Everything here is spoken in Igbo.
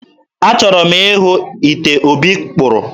Achọrọ m ịhụ ite Obi kpụrụ